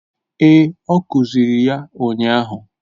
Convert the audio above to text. Ee, ọ kuziri ya ụnyahụ